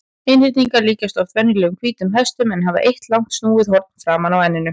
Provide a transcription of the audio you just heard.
Einhyrningar líkjast oft venjulegum hvítum hestum en hafa eitt langt snúið horn fram úr enninu.